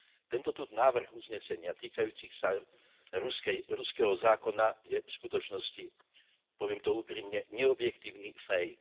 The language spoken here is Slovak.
Tento tu návrh uznesenia týkajúci sa ruskej, ruského zákona je v skutočnosti, poviem to úprimne, neobjektívny fejk.